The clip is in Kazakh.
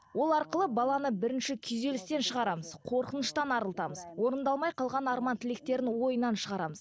ол арқылы баланы бірінші күйзелістен шығарамыз қорқыныштан арылтамыз орындалмай қалған арман тілектерін ойынан шығарамыз